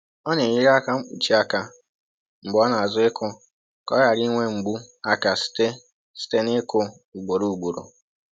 Ọ na-eyiri aka mkpuchi aka mgbe ọ na-azụ ịkụ ka ọ ghara inwe mgbu aka site site n’ịkụ ugboro ugboro